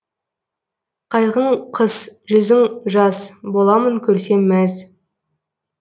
қайғың қыс жүзің жаз боламын көрсем мәз